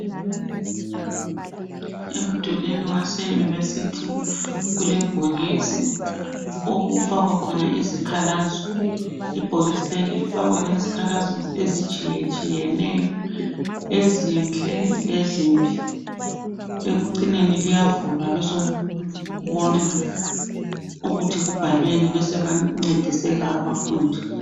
Emdulwini waseyunivesithi kule bhokisi okufakwa khona izikhalazo, ibhokisi leli lifakwa ngezikhalazo ezitshiyeneyo ezinhle lezimbi ekucineni liyavulwa besekubonwa ukuthi kubhalweni besebencediseka abafundi.